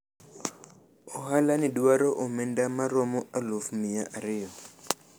ohala ni dwaro omenda maromo aluf miya ariyo